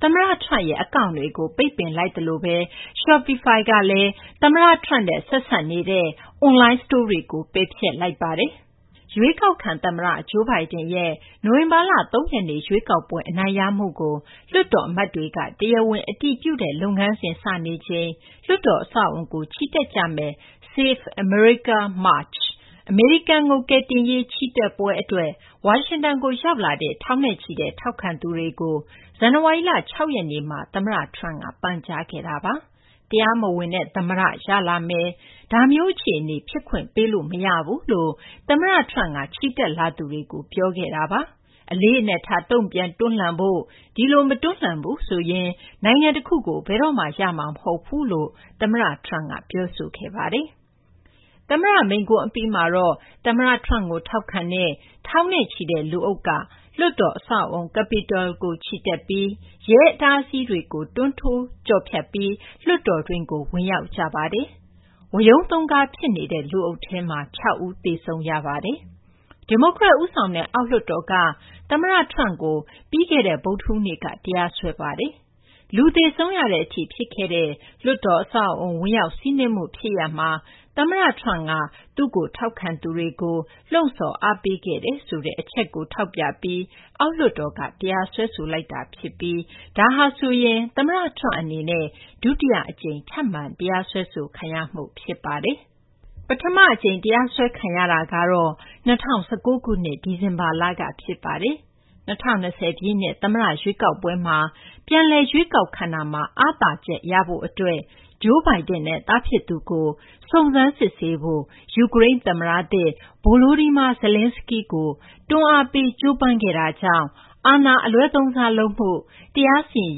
သမ္မတ Trump ရဲ့ အကောင့်တွေကို ပိတ်ပင်လိုက်သလိုဘဲ Shopify ကလည်း သမ္မတ Trump နဲ့ ဆက်စပ်နေတဲ့ အွန်လိုင်း စတိုးတွေကို ပယ်ဖျက်လိုက်ပါတယ်။ ရွေးကောက်ခံ သမ္မတ Joe Biden ရဲ့ နိုဝင်ဘာလ ၃ ရက်နေ့ ရွေးကောက်ပွဲ အနိုင်ရမှုကို လွှတ်တော် အမတ်တွေက တရားဝင် အတည်ပြုတဲ့ လုပ်ငန်းစဉ် စနေချိန် လွှတ်တော် အဆောက်အအုံကို ချီတက်ကြမယ့် Save America March - အမေရိကန်ကို ကယ်တင်ရေး ချီတက်ပွဲ အတွက် ဝါရှင်တန်ကို ရောက်လာတဲ့ ထောင်နဲ့ချီတဲ့ ထောက်ခံသူတွေကို ဇန်နဝါရီလ ၆ ရက်နေ့မှာ သမ္မတ Trump က ပန်ကြားခဲ့ပါတယ်။ တရားမဝင် သမ္မတ ရလာမယ်။ ဒါမျိုးအခြေအနေ ဖြစ်ခွင့် ပေးလို့ မရဘူး လို့ သမ္မတ Trump က ချီတက်လာသူတွေကို ပြောခဲ့တာပါ။ အလေးအနက်ထား တုံ့ပြန် တွန်းလှန်ဖို့၊ တကယ်လို့ ဒီလို မတွန်းလှန်ဘူး ဆိုရင် နိုင်ငံတခုကို ဘယ်တော့မှ ရမှာ မဟုတ်ဘူးလို့ သမ္မတ Trump က ပြောခဲ့ပါတယ်။ သမ္မတ မိန့်ခွန်း အပြီးမှာတော့ သမ္မတ Trump ကို ထောက်ခံတဲ့ ထောင်နဲ့ချီတဲ့ လူအုပ်က လွှတ်တော် အဆောက်အအုံ Capitol ကို ချီတက်ပြီး ရဲအတားအဆီးတွေကို တွန်းထိုး ကျော်ဖြတ်ပြီး လွှတ်တော်တွင်းကို ဝင်ရောက်ခဲ့ကြတာပါ။ ဝရုန်းသုန်ကား ဖြစ်နေတဲ့ လူအုပ်ထဲမှာ ၆ ဦး သေဆုံးခဲ့ပါတယ်။ ဒီမိုကရက် ဦးဆောင်တဲ့ အောက်လွှတ်တော်က သမ္မတ Trump ကို ဗုဒ္ဓဟူးနေ့က တရားစွဲဆိုလိုက်ပါတယ်။ လူသေဆုံးရတဲ့အထိ ဖြစ်ပွားခဲ့တဲ့ လွှတ်တော် အဆောက်အအုံကို ဝင်ရောက် စီးနင်းမှု ဖြစ်ရပ်မှာ သမ္မတ ထရမ့်က သူ့ကို ထောက်ခံသူတွေကို လှုံ့ဆော်အားပေးခဲ့တယ်ဆိုတဲ့ အချက်ကို ထောက်ပြပြီး အောက်လွှတ်တော်က တရားစွဲဆိုလိုက်တာ ဖြစ်ပြီး ဒါဟာဆိုရင် သမ္မတ Trump အနေနဲ့ ဒုတိယ အကြိမ် ထပ်မံ တရားစွဲဆိုခံရမှု ဖြစ်ပါတယ်။ ပထမ အကြိမ် တရားစွဲခံရတာကတော့ ၂၀၁၉ ခုနှစ် ဒီဇင်ဘာလက ဖြစ်ပါတယ်။ ၂၀၂၀ ပြည့်နှစ် သမ္မတ ရွေးကောက်ပွဲမှာ ပြန်လည် ရွေးကောက်ခံတာမှာ အားသာချက် ရဖို့ အတွက် Joe Biden နဲ့ သားဖြစ်သူကို စုံစမ်းစစ်ဆေးဖို့ ယူကရိန်း သမ္မတသစ် Volodymyr Zelenskiy ကို တွန်းအားပေးဖို့ ကြိုးပမ်းခဲ့တာကြောင့် အာဏာ အလွဲသုံးစား လုပ်မှု၊ တရားစီရင်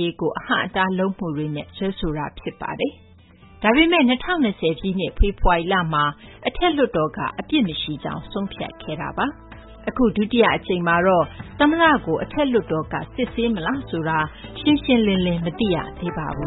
ရေးကို အဟန့်အတား လုပ်မှုတွေနဲ့ စွဲဆိုတာ ဖြစ်ပါတယ်။ ဒါပေမယ့် ၂၀၂၀ ပြည့်နှစ် ဖေဖော်ဝါရီလမှာ အထက်လွှတ်တော်က အပြစ်မရှိကြောင်း ဆုံးဖြတ်ခဲ့ပါတယ်။ အခု ဒုတိယ အကြိမ်မှာတော့ သမ္မတကို အထက်လွှတ်တော်က စစ်ဆေးမလားဆိုတာ ရှင်းရှင်းလင်းလင်း မသိရပါဘူး